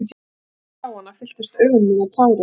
Um leið og ég sá hana fylltust augu mín af tárum.